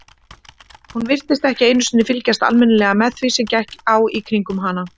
Hún virtist ekki einu sinni fylgjast almennilega með því sem gekk á í kringum hana.